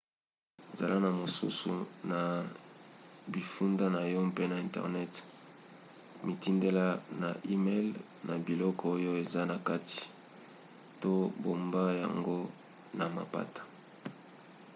zala na mosusu na bifunda na yo mpe na internet mitindela yango na e-mail na biloko oyo eza na kati to bomba yango na mapata"